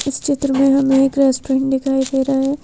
इस चित्र में हमें एक रेस्टोरेंट दिखाई दे रहा है।